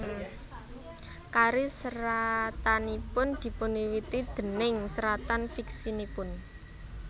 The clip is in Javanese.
Karir seratanipun dipunwiwiti déning seratan fiksinipun